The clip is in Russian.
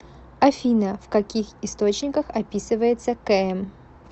афина в каких источниках описывается км